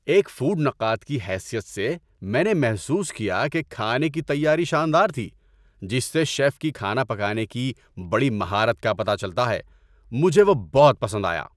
ایک فوڈ نقاد کی حیثیت سے، میں نے محسوس کیا کہ کھانے کی تیاری شاندار تھی، جس سے شیف کی کھانا پکانے کی بڑی مہارت کا پتہ چلتا ہے۔ مجھے وہ بہت پسند آیا۔